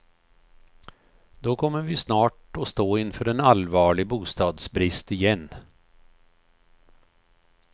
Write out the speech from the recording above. Då kommer vi snart att stå inför en allvarlig bostadsbrist igen.